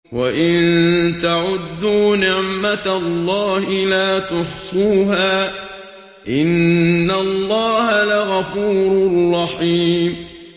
وَإِن تَعُدُّوا نِعْمَةَ اللَّهِ لَا تُحْصُوهَا ۗ إِنَّ اللَّهَ لَغَفُورٌ رَّحِيمٌ